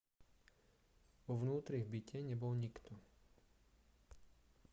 vo vnútri v byte nebol nikto